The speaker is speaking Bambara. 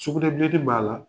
Sugunɛ blen t' i ma la